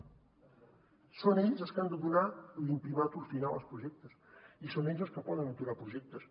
són ells els que han de donar l’imprimàtur final als projectes i són ells els que poden aturar projectes